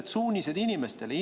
Mis on inimestele antavad suunised?